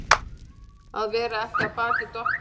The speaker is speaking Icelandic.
Að vera ekki af baki dottinn